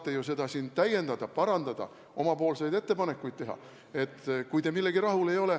Te saate seda siin täiendada, parandada, omapoolseid ettepanekuid teha, kui te millegagi rahul ei ole.